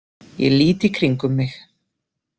Ég lít í kringum mig.